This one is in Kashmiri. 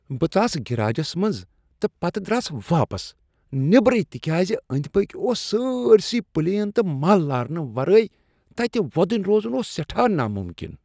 بہٕ ژاس گٔراجس منٛز تہٕ پتہٕ درٛاس واپس نیبرٕے تکیاز أنٛدۍ پٔکۍ اوس سٲرۍسٕے پلیُن تہٕ مل لارنہٕ ورٲے تتہ وۄدنۍ روزن اوس ناممکن۔